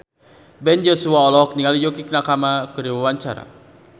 Ben Joshua olohok ningali Yukie Nakama keur diwawancara